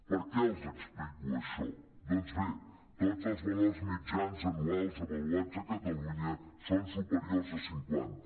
per què els explico això doncs bé tots els valors mitjans anuals avaluats a cata·lunya són superiors a cinquanta